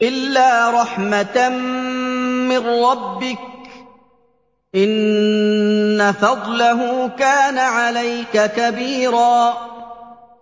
إِلَّا رَحْمَةً مِّن رَّبِّكَ ۚ إِنَّ فَضْلَهُ كَانَ عَلَيْكَ كَبِيرًا